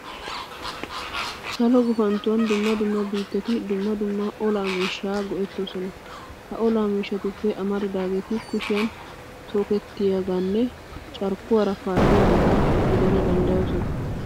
Salo gufanttuwan dumma dumma biittati dumma dumma olaa miishshaa gi"ettoosona. Ha olaa miishshatuppe amaridaageeti kushiyan tookettiyageetanne carkkuwara paalliyageeta gidana danddayoosona.